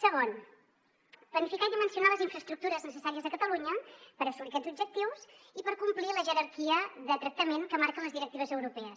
segon planificar i dimensionar les infraestructures necessàries a catalunya per assolir aquests objectius i per complir la jerarquia de tractament que marquen les directives europees